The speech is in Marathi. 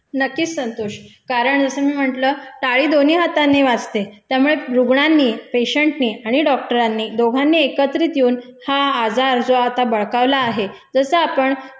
नक्कीच संतोष. कारण जसं मी म्हंटल, टाळी दोन्ही हातांनी वाजते त्यामुळे रुग्णांनी, पेशेंटनी आणि डॉक्टरांनी दोघांनी एकत्रित येऊन हा आजार जो आता बळकावला आहे, जसं आपण